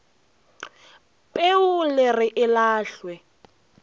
peu le re e lahlwe